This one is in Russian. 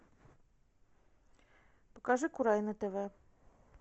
покажи курай на тв